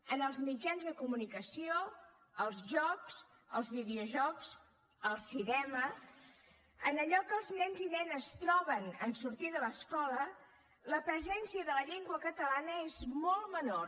en els mitjans de comunicació els jocs els videojocs el cinema en allò que els nens i nenes troben en sortir de l’escola la presència de la llengua catalana és molt menor